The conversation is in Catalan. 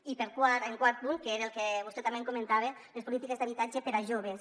i el quart punt que és el que vostè també comentava les polítiques d’habitatge per a joves